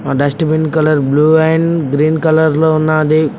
ఆ dustbin colour blue and green colour లో ఉన్నాది.